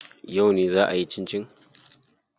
Yauce zaa kiyi cincin?